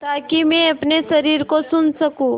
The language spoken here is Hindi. ताकि मैं अपने शरीर को सुन सकूँ